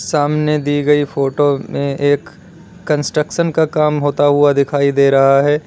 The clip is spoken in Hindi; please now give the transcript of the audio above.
सामने दी गई फोटो में एक कंस्ट्रक्शन का काम होता हुआ दिखाई दे रहा है।